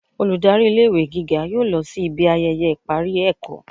olùdarí ilé ìwé gígá yóò lọ si ibi ayẹyẹ ipari ẹkọ